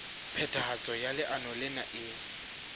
phethahatso ya leano lena e